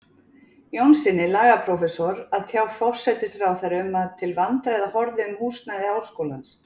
Jónssyni, lagaprófessor, að tjá forsætisráðherra um að til vandræða horfði um húsnæði háskólans.